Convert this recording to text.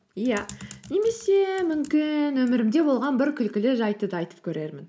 иә немесе мүмкін өмірімде болған бір күлкілі жайтты да айтып көрермін